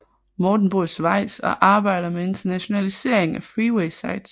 Morten bor i Schweiz og arbejder med internationaliseringen af Freeway sites